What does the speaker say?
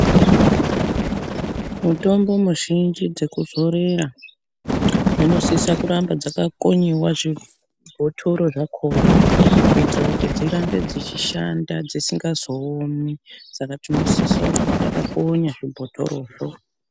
Mutombo muzhinji dzekuzorera dzinosisa kuti dzigare dzakakonyiwa zvibhotoro zvakhona kuitira kuti dzirambe dzichishanda dzisingazoomi Saka tinosisira kuramba takakonya zvibhotorozvo.